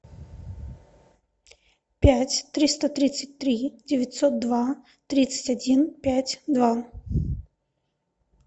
пять триста тридцать три девятьсот два тридцать один пять два